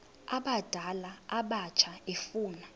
abadala abatsha efuna